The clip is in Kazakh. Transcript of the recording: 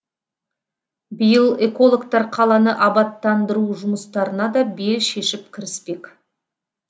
биыл экологтар қаланы абаттандыру жұмыстарына да бел шешіп кіріспек